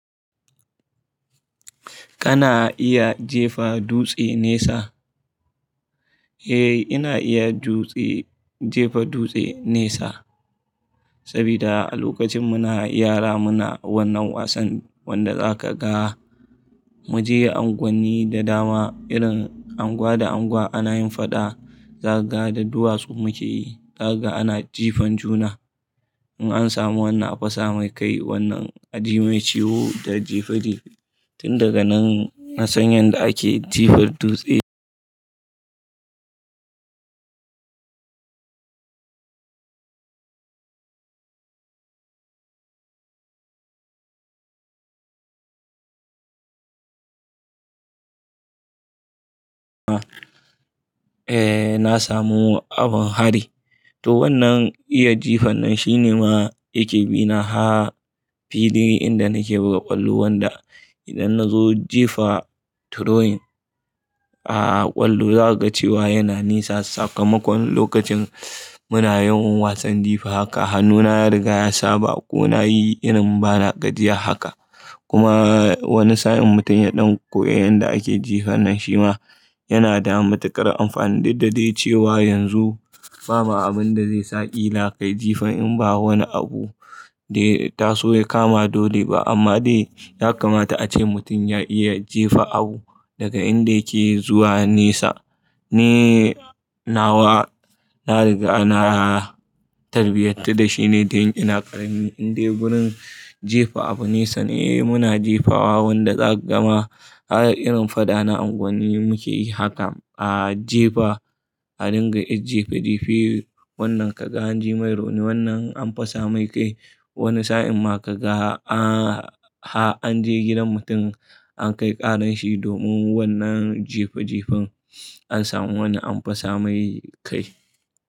Kana iya jefa dutse nesa? Eh, ina iya dutse-- jefa dutse nesa. Sabida a lokacin muna yara muna wannan wasan wanda zaka ga mu je unguwanni da dama irin unguwa da unguwa ana yin faɗa, za ka ga da duwatsu muke yi, za ka ga ana jifan juna. In an samu wannan a fasa mai kai, wannan a jimai ciwo da jife jife. Tun daga nan na san yadda ake jefa dutse. Eh na samu abin hari. To wannan iya jifan nan shine ma yake bina har filin inda nake buga kwallo wanda idan na zo jifa throwing, a kwallo za ka ga cewa yana nisa sakamakon lokacin muna yawan wasan jifa haka hannuna ya riga ya saba ko na yi irin bana gajiya haka. Kuma wani sa'in mutum ya ɗan koya yanda ake jifa nan shi ma yana da matukar amfani duk da dai cewa yanzu babu abinda zai sa ƙila kai jifan in ba wani abu da ya taso ya kama dole ba. Amma dai ya kamata ace mutum ya iya jefa abu daga inda yake zuwa nesa. Ni nawa na riga na tarbiyantar da shine tun ina ƙarami indai gurin jefa abu nesa. Eh muna jefawa wanda za ka ga ma har irin faɗa na unguwanni muke yi haka a jefa, a dinga 'yar jefa jefe wannan ka ga an jimai rauni wannan ka ga an fasa mai kai. Wani sa'in ma ka ga har an je gidan mutum an kai ƙaran shi domin wannan jife jifen an samu wanda an fasa mai kai.